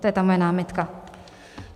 To je ta moje námitka.